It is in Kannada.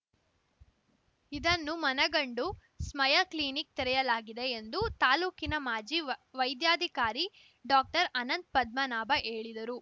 ಇದನ್ನು ಮನಗಂಡು ಸ್ಮಯಾ ಕ್ಲಿನಿಕ್‌ ತೆರೆಯಲಾಗಿದೆ ಎಂದು ತಾಲೂಕಿನ ಮಾಜಿ ವೈ ವೈದ್ಯಾಧಿಕಾರಿ ಡಾಕ್ಟರ್ಅನಂತ್ ಪದ್ಮನಾಭ ಹೇಳಿದರು